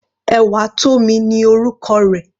Ewatomi ni orúkọ rẹ̀.